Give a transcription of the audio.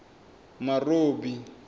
marobi